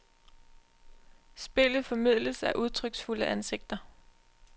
Spillet formidles af udtryksfulde ansigter.